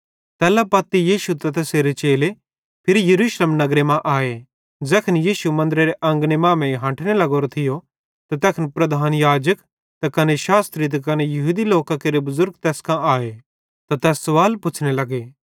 तैल्ला पत्ती यीशु त तैसेरे चेले फिरी यरूशलेम नगरे मां आए ज़ैखन यीशु मन्दरेरे अंगने मांमेइं हंठने लग्गोरो थियो त तैखन प्रधान याजक त कने शास्त्री त कने यहूदी लोकां केरे बुज़ुर्ग तैस कां आए त तैस सवाल पुछ़्ने लग्गे